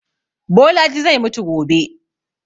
Bolaji zai mutu gobe